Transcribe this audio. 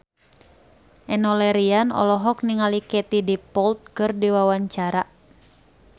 Enno Lerian olohok ningali Katie Dippold keur diwawancara